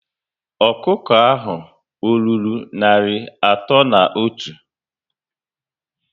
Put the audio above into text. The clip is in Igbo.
Ọkụkọ ahụ ọ rụrụ narị atọ na otu?